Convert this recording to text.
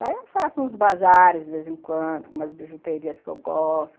Daí eu faço uns bazares de vez em quando, umas bijuterias que eu gosto.